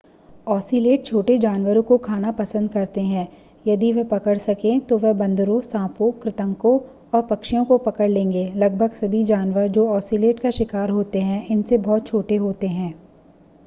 ocelot छोटे जानवरों को खाना पसंद करते हैं यदि वे पकड़ सकें तो वे बंदरों सांपों कृन्तकों और पक्षियों को पकड़ लेंगे लगभग सभी जानवर जो औसीलट का शिकार होते हैं इनसे बहुत छोटे होते हैं